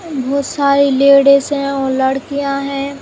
बहुत सारी लेडीज हैं और लड़कियाँ हैं।